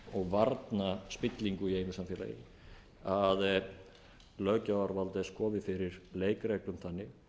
og varna spillingu í einu samfélagi að löggjafarvald þess komi fyrir leikreglum þannig